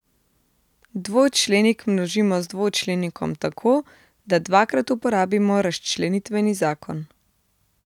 Dvočlenik množimo z dvočlenikom tako, da dvakrat uporabimo razčlenitveni zakon.